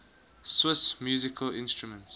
swiss musical instruments